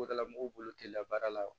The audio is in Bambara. O dala mɔgɔw bolo k'i ka baara la o